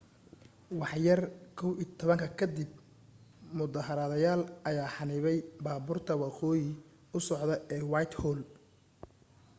waxyar 11:00 ka dib mudaharaadayaal ayaa xanibay baabuurta waqooyi u socda ee whitehall